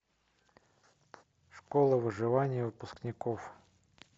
школа выживания выпускников